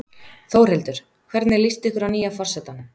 Þórhildur: Hvernig líst ykkur á nýja forsetann?